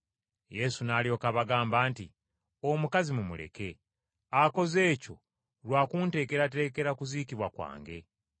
Yesu n’alyoka abagamba nti, “Omukazi mumuleke, akoze ekyo lwa kunteekerateekera kuziikibwa kwange.